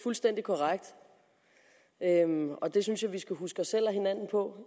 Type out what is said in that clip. fuldstændig korrekt og det synes jeg vi skal huske os selv og hinanden på